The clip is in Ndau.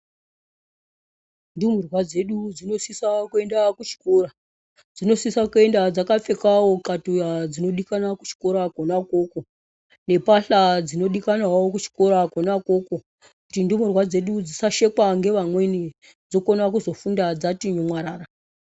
Ndumurwa dzedu dzinosisa kuenda kuchikora. Dzinosisa kuenda dzakapfekavo katxuya dzinodikanwa kuchikora kona ikoko. Nembatya dzinodikanwavo kuchikora kona ikoko. Kuti ndumurwa dzedu dzisasekwwa ngevamweni dzokona kufundadzati mwarara.